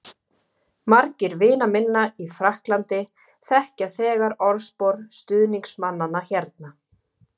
Margir vina minna í Frakklandi þekkja þegar orðspor stuðningsmannanna hérna.